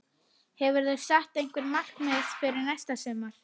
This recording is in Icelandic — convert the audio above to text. Hefurðu sett einhver markmið fyrir næsta sumar?